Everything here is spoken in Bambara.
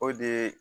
O de ye